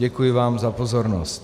Děkuji vám za pozornost.